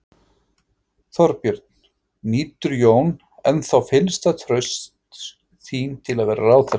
Þorbjörn: Nýtur Jón ennþá fyllsta trausts þín til að vera ráðherra?